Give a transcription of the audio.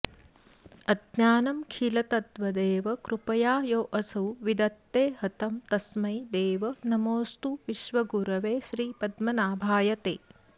अज्ञानं खिल तद्वदेव कृपया योऽसौ विदत्ते हतं तस्मै देव नमोऽस्तु विश्वगुरवे श्रीपद्मनाभाय ते